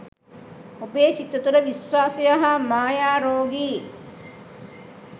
ඔබේ සිත තුළ විශ්වාසය හා මායා රෝගී